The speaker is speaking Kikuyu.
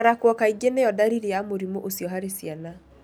Kũrarako kaingĩ niyo dariri ya mũrimũ ucio harĩ ciana.